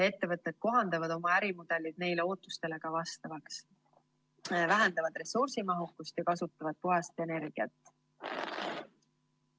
Ettevõtjad kohandavad oma ärimudelid neile ootustele vastavaks, vähendavad ressursimahukust ja kasutavad puhast energiat.